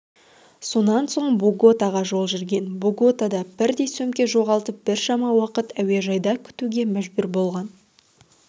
сонан соң боготаға жол жүрген боготада бірдей сөмке жоғалып біршама уақыт әуежайда күтуге мәжбүр болған